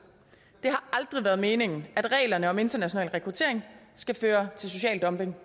det har aldrig været meningen at reglerne om international rekruttering skal føre til social dumping